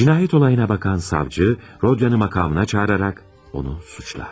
Cinayət olayına bakan savcı Rodyanı makamına çağıraraq onu suçlar.